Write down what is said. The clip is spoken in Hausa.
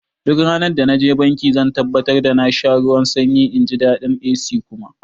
Duk randa naje banki zan tabbatar da na sha ruwan sanyi inji daɗin AC kuma